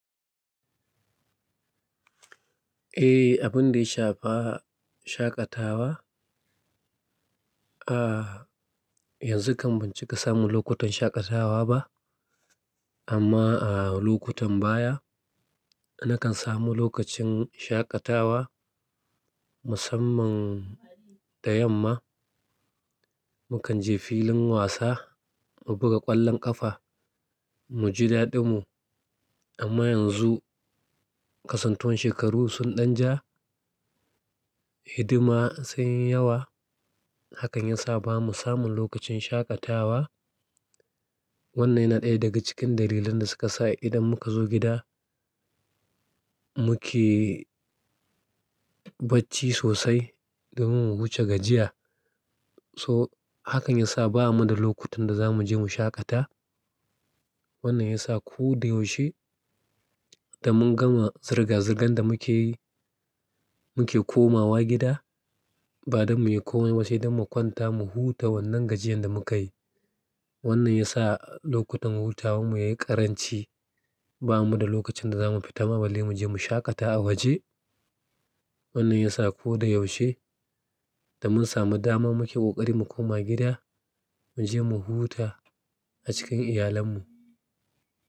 Eh, abun da ya shafa shaƙatawa. A yanzu kam ban cika samu lokutan shaƙatawa ba. Amma ah lokutan baya, nakan samu lokacin shakatawa, musamman da yamma. Mu kan je filin wasa mu buga ƙwallon ƙafa, mu ji daɗin mu. Amma yanzu kasuntowan shekaru sun ɗan ja, hidima sun yi yawa. Hakan ya sa ba mu samun lokacin shaƙatawa. Wannan yana ɗaya daga cikin dalilan da suka sa idan muka zo gida muke bacci sosai domin mu wuce gajiya. To hakan ya sa ba mu da lokutan da za mu je mu shaƙata. Wannan ya sa ko da yaushe, da mun gama zirga-zirgan da muke yi, muke komawa gida. Ba don mu yi komai ba, sai don mu kwanta mu huta wannan gajiyan da muke yi. Wannan ya sa lokutan hutawan mu yayi ƙaranci. Ba mu da lokacin da za mu fita ma balle mu je mu shaƙata a waje. Wannan ya sa ko da yaushe da mun samu dama muke ƙoƙari mu koma gida, mu je mu huta a cikin iyalen mu.